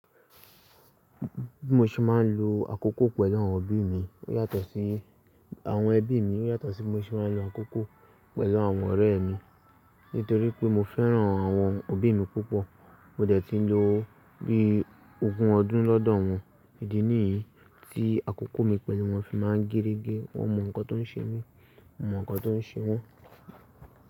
Bi mo ṣe máa ń lo àkókò pẹ̀lú àwọn òbí mi yàtọ̀ sí, àwọn ẹbí mi yàtọ̀ sí mo ṣe máa ń lo àkókò pẹ̀lú àwọn ọ̀rẹ́ mi. Nítorí pé mo fẹ́ràn àwọn òbí mi púpọ̀. Mo dẹ̀ tí ń lo bí ogún ọdún lọ́dọ̀ wọn. Ìdè nìyí tí àkókò mi pẹ̀lú wọn fi máa ń géregé. Wọ́n mọ nǹkan tó ń ṣe mí, mo mọ nǹkan tó ń ṣe wọn.